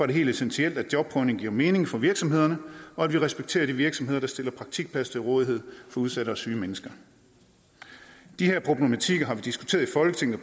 det helt essentielt at jobprøvning giver mening for virksomhederne og at vi respekterer de virksomheder der stiller praktikplads til rådighed for udsatte og syge mennesker de her problematikker har vi diskuteret i folketinget